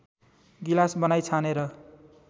गिलास बनाई छानेर